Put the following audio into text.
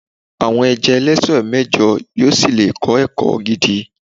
àwọn ẹja ẹlẹsẹ mẹjọ yíò sí le kọ ẹkọ gidi